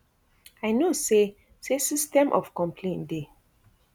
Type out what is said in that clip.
i know say say system of complain dey